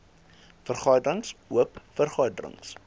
vergaderings oop vergaderings